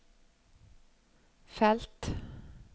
felt